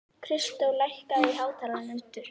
Kristó, lækkaðu í hátalaranum.